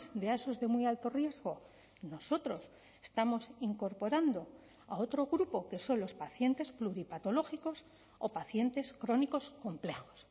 de a esos de muy alto riesgo nosotros estamos incorporando a otro grupo que son los pacientes pluripatológicos o pacientes crónicos complejos